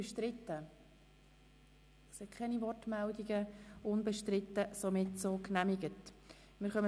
Sie haben den Antrag Regierungsrat/SiK einstimmig angenommen.